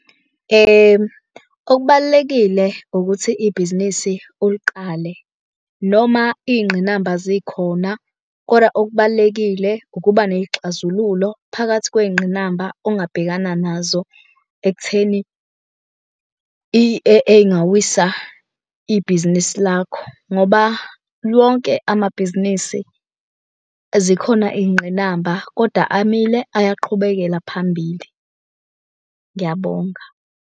Okubalulekile ukuthi ibhizinisi uliqale noma iy'ngqinamba zikhona, kodwa okubalulekile ukuba ney'xazululo phakathi kwey'ngqinamba ongabhekana nazo. Ekutheni ey'ngawisa ibhizinisi lakho, ngoba wonke amabhizinisi zikhona iy'ngqinamba kodwa amile ayaqhubekela phambili. Ngiyabonga.